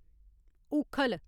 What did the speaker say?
ऊक्खल